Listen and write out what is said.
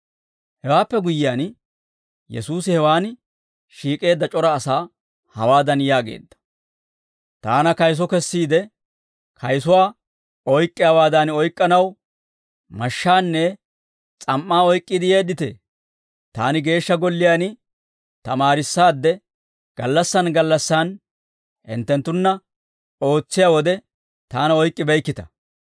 Hewaappe guyyiyaan, Yesuusi hewaan shiik'eedda c'ora asaa hawaadan yaageedda; «Taana kayiso kessiide, kayisuwaa oyk'k'iyaawaadan oyk'k'anaw mashshaanne s'am"aa oyk'k'iide yeedditee? Taani Geeshsha Golliyaan tamaarissaadde, gallassan gallassan hinttenttunna ootsiyaa wode taana oyk'k'ibeykkita;